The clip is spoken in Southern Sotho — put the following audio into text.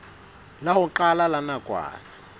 la ho qala la nakwana